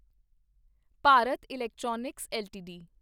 Bharat Electronics LTD